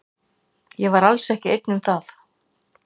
Ég var alls ekki ein um það.